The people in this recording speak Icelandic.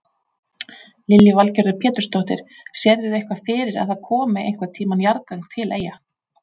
Lillý Valgerður Pétursdóttir: Sérðu eitthvað fyrir að það komi einhvern tíman jarðgöng til Eyja?